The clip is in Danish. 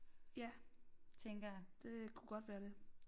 Ja det kunne godt være det